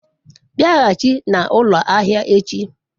biaghachi na ulo ahia echi